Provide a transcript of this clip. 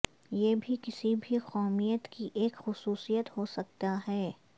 یہ بھی کسی بھی قومیت کی ایک خصوصیت ہو سکتا ہے